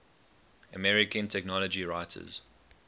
american technology writers